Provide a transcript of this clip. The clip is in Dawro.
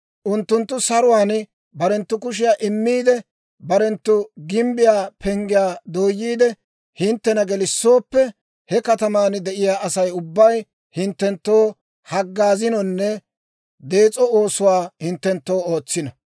Unttunttu saruwaan barenttu kushiyaa immiide, barenttu gimbbiyaa penggiyaa dooyiide hinttena gelissooppe, he kataman de'iyaa Asay ubbay hinttenttoo haggaazinonne dees'o oosuwaa hinttenttoo ootsino.